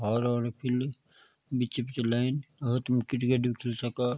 हारु-हारु पीलू बीच-बीच लाइन और तुम क्रिकेट भी खेल सका।